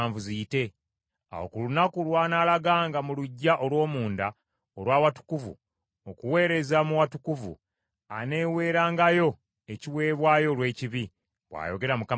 Awo ku lunaku lw’anaalaganga mu luggya olw’omunda olwa watukuvu okuweereza mu watukuvu, aneweerangayo ekiweebwayo olw’ekibi, bw’ayogera Mukama Katonda.